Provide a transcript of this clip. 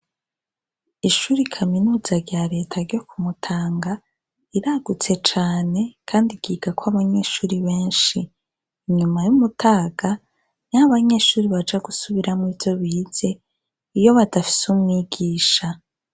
Ishure Kaminuza rya Reta ryo Kumutanga riragutse cane kandi ryigako abanyeshure beshi. inyuma yumutaga niho abanyesgure baja gusubiramwo ivyo bize, iyo badafise ivyo biga.